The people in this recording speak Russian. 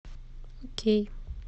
окей